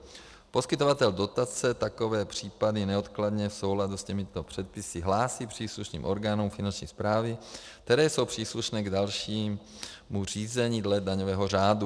Poskytovatel dotace takové případy neodkladně v souladu s těmito předpisy hlásí příslušným orgánům Finanční správy, které jsou příslušné k dalšímu řízení dle daňového řádu.